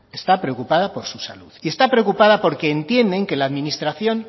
está preocupada por su salud y está preocupada porque entienden que la administración